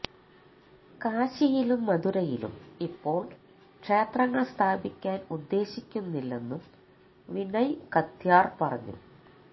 കാശിയിലും മഥുരയിലും ഇപ്പോൾ ക്ഷേത്രങ്ങൾ സ്ഥാപിക്കാൻ ഉദ്ദേശിക്കുന്നില്ലെന്നും വിനയ് കത്യാർ പറഞ്ഞു